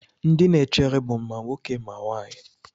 Ndị na-echere bụ ma nwoke ma nwanyị.